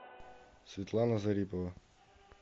светлана зарипова